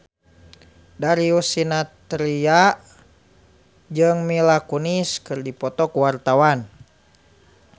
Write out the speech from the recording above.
Darius Sinathrya jeung Mila Kunis keur dipoto ku wartawan